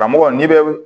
Karamɔgɔ n'i bɛ